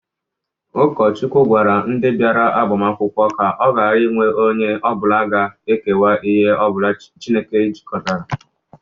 Ụkọchukwu gwara ndị bịara agbamakwụkwọ ka ọ gara inwe onye ọbụla ga-ekewa ihe ọbụla Chineke jikọtarala.